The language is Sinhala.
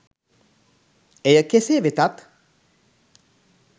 එය කෙසේ වෙතත්